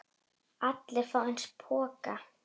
Allir fá eins poka.